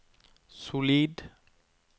solid